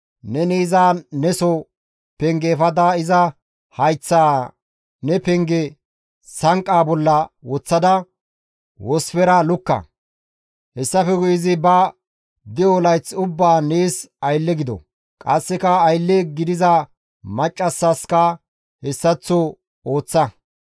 neni iza neso penge efada iza hayththaa ne penge sanqqa bolla woththada wosfera lukka; Hessafe guye izi ba de7o layth ubbaan nees aylle gido; qasseka aylle gidiza maccassaska hessaththo ooththa.